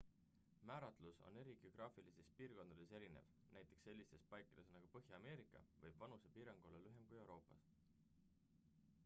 määratlus on eri geograafilistes piirkondades erinev näiteks sellistes paikades nagu põhja-ameerika võib vanusepiirang olla lühem kui euroopas